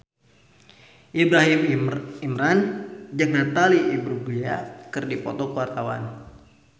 Ibrahim Imran jeung Natalie Imbruglia keur dipoto ku wartawan